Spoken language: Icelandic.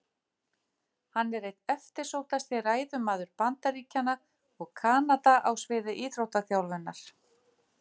Hann er einn eftirsóttasti ræðumaður Bandaríkjanna og Kanada á sviði íþróttaþjálfunar.